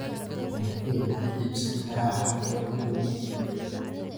halkee ka iibsan karaa halkan dhow